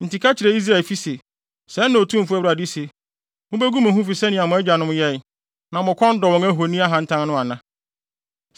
“Enti ka kyerɛ Israelfi se: ‘Sɛɛ na Otumfo Awurade se: Mubegu mo ho fi sɛnea mo agyanom yɛe, na mo kɔn dɔ wɔn ahoni atantan no ana?